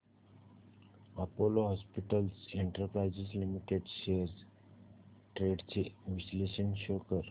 Apollo hospitals enterprise limited shares trends चे विश्लेषण show कर